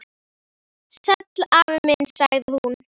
Sæll afi minn sagði hún.